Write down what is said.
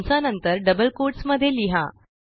कंसानंतर double quotes मध्ये लिहा